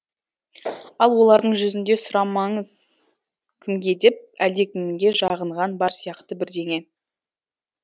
ал олардың жүзінде сұрамаңыз кімге деп әлдекімге жағынған бар сияқты бірдеңе